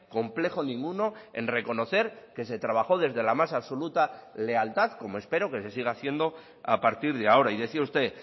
complejo ninguno en reconocer que se trabajo desde la más absoluta lealtad como espero que se siga haciendo a partir de ahora y decía usted